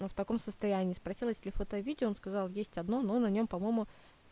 но в таком состоянии спросил если фото и видео он сказал есть одно но на нём по-моему